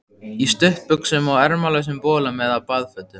Í stuttbuxum og ermalausum bolum eða baðfötum.